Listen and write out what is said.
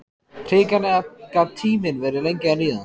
Hrikalega gat tíminn verið lengi að líða.